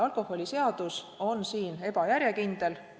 Alkoholiseadus on siin ebajärjekindel.